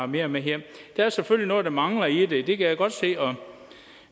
mere med hjem der er selvfølgelig noget der mangler i det det kan jeg godt se